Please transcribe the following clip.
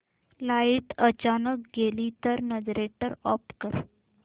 light अचानक गेली तर जनरेटर ऑफ कर